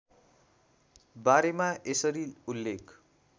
बारेमा यसरी उल्लेख